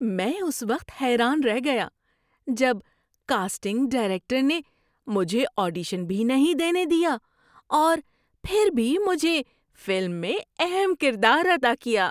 میں اس وقت حیران رہ گیا جب کاسٹنگ ڈائریکٹر نے مجھے آڈیشن بھی نہیں دینے دیا اور پھر بھی مجھے فلم میں اہم کردار عطاء کیا۔